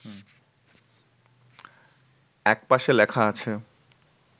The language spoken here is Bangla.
একপাশে লেখা আছে